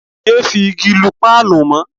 Yé fi igi lu páànù mọ́.